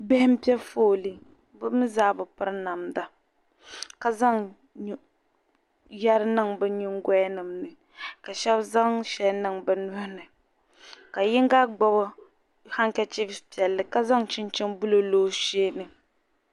Bihi n pɛ fɔɔli bɛ mi zaa bi piri namda ka zaŋ yeri niŋ bi nyiŋ goya ni ka shab zaŋ shɛli niŋ bɛ nuhini ka yiŋga gbubi hanka chif, piɛli ka zaŋ chinchini blue n lɔ ɔsheeni